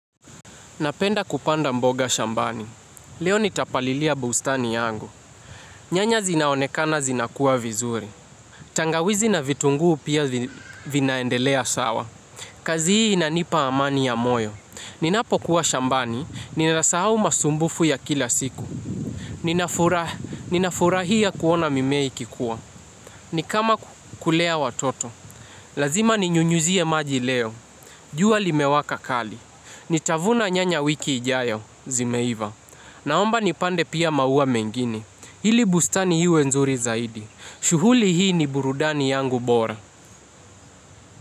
Napenda kupanda mboga shambani. Leo nitapalilia bustani yangu. Nyanya zinaonekana zinakua vizuri. Tangawizi na vitunguu pia vinaendelea sawa. Kazi hii inanipa amani ya moyo. Ninapo kuwa shambani, ninasahau masumbufu ya kila siku. Ninafurahia kuona mimea ikikua. Ni kama kulea watoto. Lazima ninyunyuzie maji leo. Jua limewaka kali. Ni tavuna nyanya wiki ijayo, zimeiva. Naomba nipande pia maua mengine. Hili bustani iwe nzuri zaidi. Shughuli hii ni burudani yangu bora.